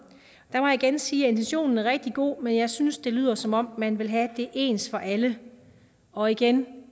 jeg igen sige at intentionen er rigtig god men jeg synes at det lyder som om man vil have det ens for alle og igen